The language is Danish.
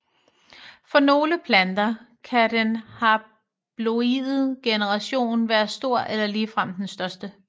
For nogle planter kan den haploide generation være stor eller ligefrem den største